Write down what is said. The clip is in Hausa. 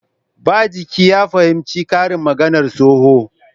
Ba jiki ya fahimci karin maganar tsohon